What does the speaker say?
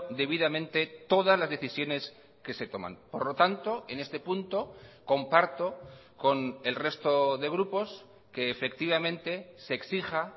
debidamente todas las decisiones que se toman por lo tanto en este punto comparto con el resto de grupos que efectivamente se exija